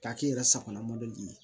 K'a k'i yɛrɛ sagona mɔbili ye